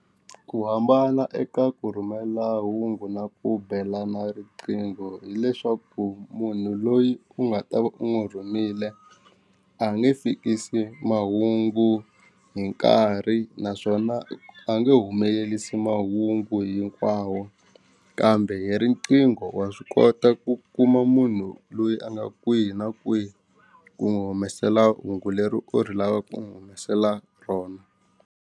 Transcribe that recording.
Ku hambana eka ku rhumela hungu na ku belana riqingho hileswaku munhu loyi u nga ta va u n'wi rhumile a nge fikisi mahungu hi nkarhi naswona a nge humelelisi mahungu hinkwawo kambe hi riqingho wa swi kota ku kuma munhu loyi a nga kwihi na kwihi ku n'wi humesela hungu leri u ri lava ku n'wi humesela rona.